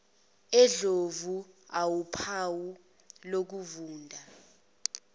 endlovu awuphawu lokuvunda